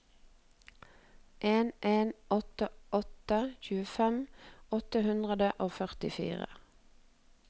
en en åtte åtte tjuefem åtte hundre og førtifire